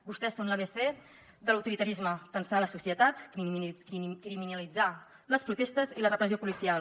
vostès són l’abecé de l’autoritarisme tensar la societat criminalitzar les protestes i la repressió policial